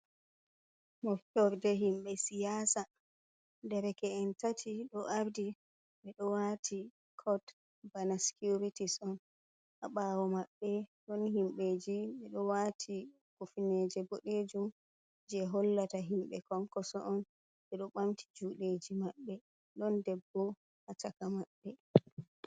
Moftorde himɓe siyasa derke'en tati ɗo ardi ɓe ɗo wati kot bana sikwiritis on ha ɓawo maɓɓe. Ɗon himbeji ɓe ɗo wati kufneje boɗejum je hollata himɓe Konkoso on. Ɓe ɗo ɓamti juɗeji maɓɓe ɗon debbo ha caka maɓɓe.